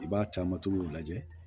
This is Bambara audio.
I b'a caman togo lajɛ